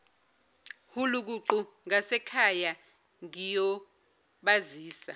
hulukuqu ngasekhaya ngiyobazisa